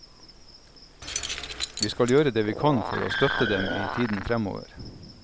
Vi skal gjøre det vi kan for å støtte dem i tiden fremover.